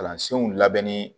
Kalansenw labɛnni